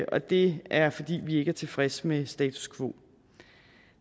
og det er fordi vi ikke er tilfredse med status quo